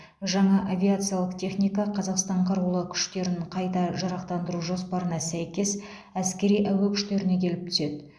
жаңа авиациялық техника қазақстан қарулы күштерін қайта жарақтандыру жоспарына сәйкес әскери әуе күштеріне келіп түседі